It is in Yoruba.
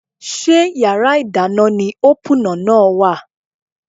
Ṣé yàrá ìdáná ni ópúnà náà wà?